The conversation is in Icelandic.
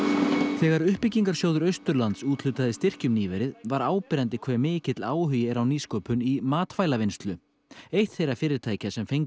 þegar uppbyggingarsjóður Austurlands úthlutaði styrkjum nýverið var áberandi hve mikill áhugi er á nýsköpun í matvælavinnslu eitt þeirra fyrirtækja sem fengu